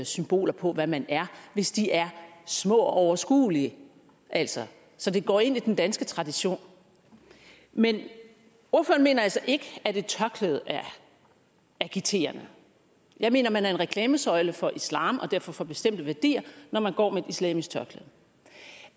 symboler på hvad man er hvis de er små og overskuelige altså så det går ind i den danske tradition men ordføreren mener altså ikke at et tørklæde er agiterende jeg mener at man er en reklamesøjle for islam og derfor for bestemte værdier når man går med et islamisk tørklæde